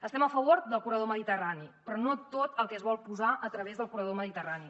estem a favor del corredor mediterrani però no tot el que es vol posar a través del corredor mediterrani